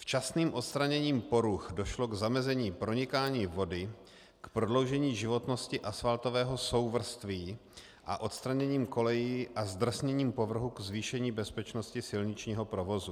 Včasným odstraněním poruch došlo k zamezení pronikání vody, k prodloužení životnosti asfaltového souvrství a odstraněním kolejí a zdrsněním povrchu k zvýšení bezpečnosti silničního provozu.